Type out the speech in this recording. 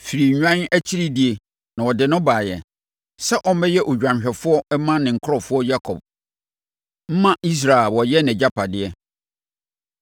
firii nnwan akyiridie, na ɔde no baeɛ sɛ ɔmmɛyɛ odwanhwɛfoɔ mma ne nkurɔfoɔ Yakob, mma Israel a wɔyɛ nʼagyapadeɛ.